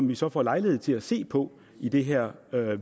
vi så får lejlighed til at se på i det her